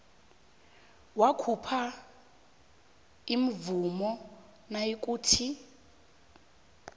wakhupha imvumo nayikuthi